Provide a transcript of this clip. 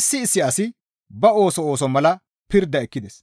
issi issi asi ba ooso ooso mala pirda ekkides.